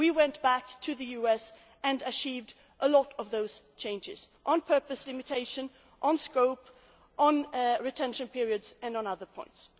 changes. We went back to the US and achieved a lot of those changes on purpose limitation, scope, retention periods and other